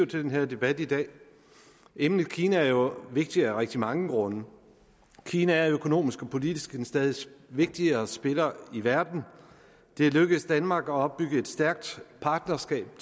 til den her debat i dag emnet kina er jo vigtigt af rigtig mange grunde kina er økonomisk og politisk en stadig vigtigere spiller i verden det er lykkedes danmark at opbygge et stærkt partnerskab